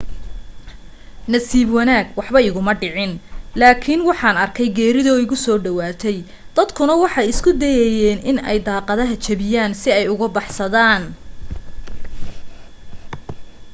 nasiib wanaag waxba iguma dhicin laakin waxaan arkey geerido iiso dhawaate dadkuna waxa ay isku dayaayen in ay daaqadaha jabiyaan si ay uga baxsadaan